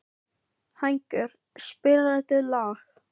Hængur, spilaðu lag.